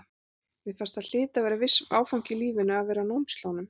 Mér fannst það hlyti að vera viss áfangi í lífinu að vera á námslánum.